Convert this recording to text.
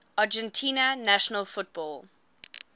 argentina national football